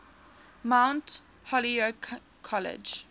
mount holyoke college